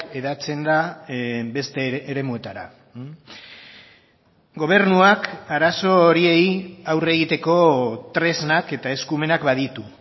hedatzen da beste eremuetara gobernuak arazo horiei aurre egiteko tresnak eta eskumenak baditu